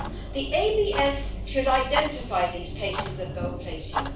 The ABS should identify these cases of gold plating.